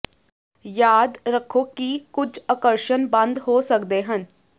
ਯਾਦ ਰੱਖੋ ਕਿ ਕੁਝ ਆਕਰਸ਼ਣ ਬੰਦ ਹੋ ਸਕਦੇ ਹਨ